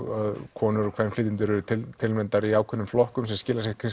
konur og kvenflytjendur eru tilnefndar í ákveðnum flokkum sem skilar sér